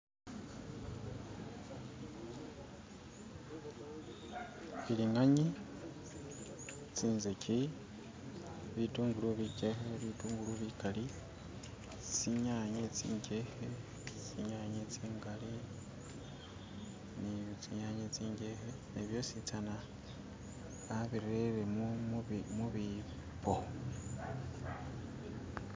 Bilinganya, zinzagi, bitungulu bigyeeke, butungulu bigaali, zinyanya zingyeke, zinyanya zingali, byosizana babiteele mu bibbo